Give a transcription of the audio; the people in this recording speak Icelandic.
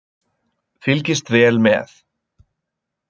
Fylgist vel með